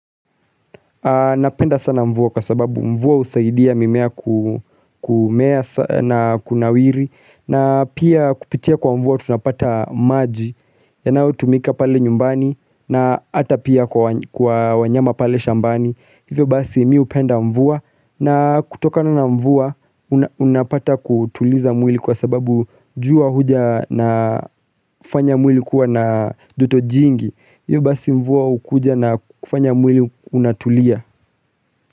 Napenda sana mvua kwa sababu mvua husaidia mimea na kunawiri na pia kupitia kwa mvua tunapata maji Yanayotumika pale nyumbani na hata pia kwa wanyama pale shambani. Hivyo basi mi hupenda mvua na kutokana mvua unapata kutuliza mwili kwa sababu jua huja na fanya mwili kuwa na joto jingi. Hivyo basi mvua hukuja na kufanya mwili unatulia.